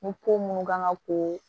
Ni ko munnu kan ka ko